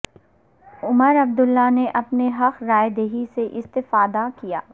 عمر عبداللہ نے اپنے حق رائے دہی سے استفادہ کیا